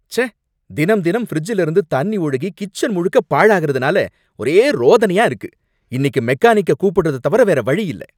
ச்சே! தினம் தினம் ஃபிரிட்ஜ்ல இருந்து தண்ணி ஒழுகி கிச்சன் முழுக்க பாழாகுறதுனால ஒரே ரோதனையா இருக்கு! இன்னிக்கு மெக்கானிக்க கூப்பிடுறத தவிர வேற வழியில்ல